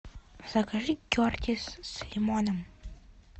закажи кертис с лимоном